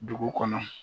Dugu kɔnɔ